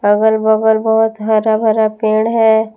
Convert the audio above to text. अगल बगल बहोत हरा भरा पेड़ है।